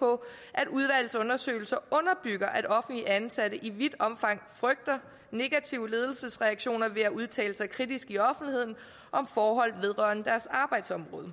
på at udvalgets undersøgelser underbygger at offentligt ansatte i vidt omfang frygter negative ledelsesreaktioner ved at udtale sig kritisk i offentligheden om forhold vedrørende deres arbejdsområde